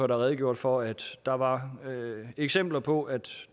der redegjorde for at der var eksempler på at